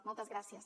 moltes gràcies